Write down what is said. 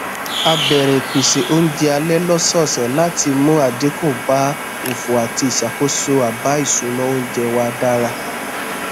a bẹrẹ ìpésé oúnjẹ alẹ lọsọọsẹ láti mú àdínkù bá òfò àti ìṣàkóso àbá ìṣúná oúnjẹ wa dára